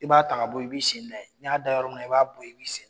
I b'a ta ka bɔ yen i bɛ sen da yen n'i y'a da yɔrɔ min i b'a bɔ yen i b'i sen